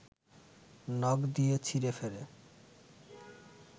নখ দিয়ে ছিঁড়েফেড়ে